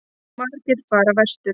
Margir fara vestur